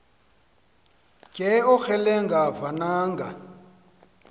ke ongelenga vananga